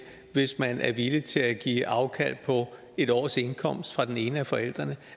hvis man er villig til at give afkald på et års indkomst fra den ene af forældrene